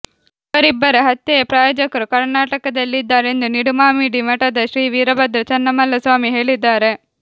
ಇವರಿಬ್ಬರ ಹತ್ಯೆಯ ಪ್ರಾಯೋಜಕರು ಕರ್ನಾಟದಲ್ಲೆ ಇದ್ದಾರೆ ಎಂದು ನಿಡುಮಾಮಿಡಿ ಮಠದ ಶ್ರೀ ವೀರಭದ್ರ ಚನ್ನಮಲ್ಲಸ್ವಾಮಿ ಹೇಳಿದ್ದಾರೆ